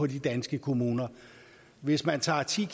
de danske kommuner hvis man tager ti